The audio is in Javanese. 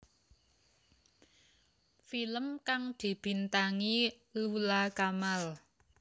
Film kang dibintangi Lula Kamal